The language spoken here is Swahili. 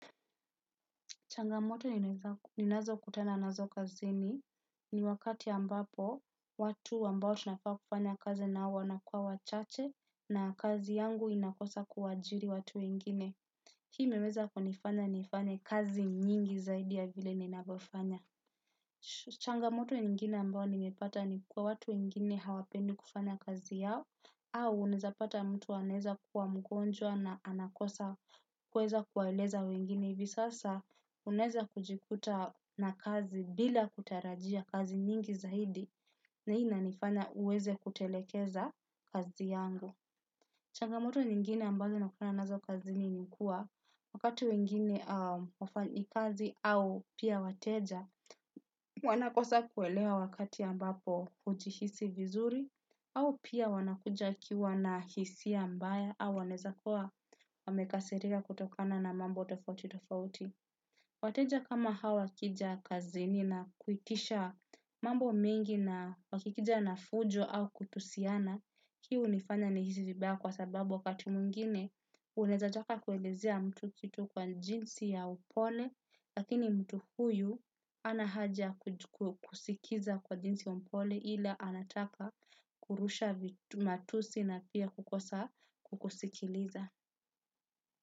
Changamoto ninazo kutana nazo kazini ni wakati ambapo watu ambao tunafaa kufanya kazi nao wanakuwa wachache na kazi yangu inakosa kuwaajiri watu wengine. Hii imeweza kunifanya nifanye kazi nyingi zaidi ya vile ninavyofanya. Changamoto ingine ambao nimepata ni kuwa watu wengine hawapendi kufanya kazi yao au unaezapata mtu anaeza kuwa mgonjwa na anakosa kuweza kuwaeleza wengine. Hivi sasa unaeza kujikuta na kazi bila kutarajia kazi nyingi zaidi na hii inanifanya uweze kutelekeza kazi yangu. Changamoto nyingine ambazo nakutana nazo kazini nikuwa wakati wengine wafanyikazi au pia wateja. Wanakosa kuelewa wakati ambapo ujihisi vizuri au pia wanakuja akiwa na hisia mbaya au wanaeza kuwa wamekasirika kutokana na mambo tofauti tofauti. Wateja kama hawa wakija kazini na kuitisha mambo mengi na wakikija na fujo au kutusiana, hii unifanya nihisi vibaya kwa sababu wakati mwingine, unaeza taka kuelezea mtu kitu kwa jinsi ya upole, lakini mtu huyu anahaja kusikiza kwa jinsi ya upole ila anataka kurusha matusi na pia kukosa kukusikiliza.